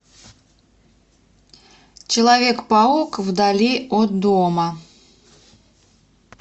человек паук вдали от дома